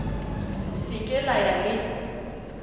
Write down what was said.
se ke la ya le